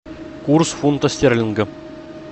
курс фунта стерлинга